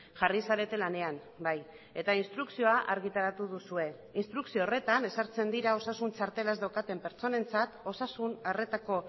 jarri zarete lanean bai eta instrukzioa argitaratu duzue instrukzio horretan ezartzen dira osasun txartela ez daukaten pertsonentzat osasun arretako